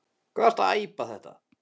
Hvað ertu að æpa þetta.